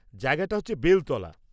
জায়গাটা হচ্ছে বেলতলা।